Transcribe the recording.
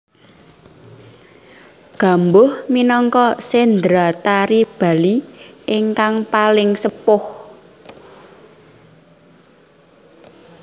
Gambuh minangka sendratari Bali ingkang paling sepuh